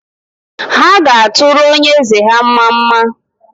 Ha ga-atụrụ onye eze ha mmamma